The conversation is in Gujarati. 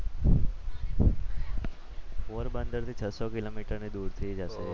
પોરબંદરથી કંઈક છસો કિલોમીટર દૂર થઈ જશે.